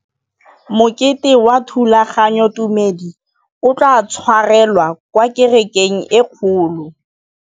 Mokete wa thulaganyôtumêdi o tla tshwarelwa kwa kerekeng e kgolo.